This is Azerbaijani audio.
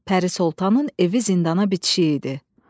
Pəri Sultanın evi zindana bitişik idi.